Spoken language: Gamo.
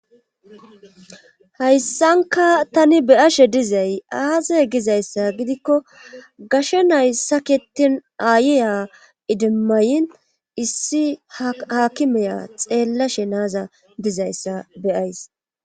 Hayssankka tani be7ashe dizay aaze gizayssa gidikko gashe nay sakettin aayiya idimma yin issi ha haakimiya xeellashe na7aza dizayssa be7ays.